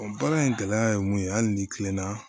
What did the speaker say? baara in gɛlɛya ye mun ye hali ni tilenna